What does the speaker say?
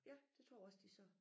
Ja det tror jeg også de sagde